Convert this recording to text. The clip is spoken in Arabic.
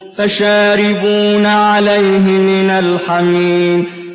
فَشَارِبُونَ عَلَيْهِ مِنَ الْحَمِيمِ